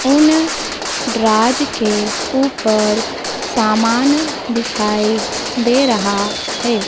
उन द्राज के ऊपर समान दिखाई दे रहा है।